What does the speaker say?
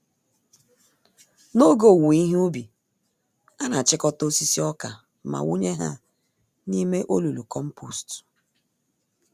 N'oge owuwe ihe ubi, anachịkọta osisi ọkà ma wụnye ha n'ime olulu kompost